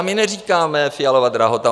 A my neříkáme Fialova drahota.